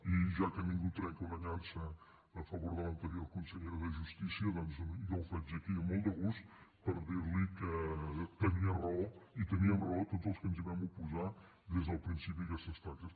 i ja que ningú trenca una llança a favor de l’anterior consellera de justícia doncs jo ho faig aquí amb molt de gust per dir li que tenia raó i teníem raó tots els que ens vam oposar des del principi a aquestes taxes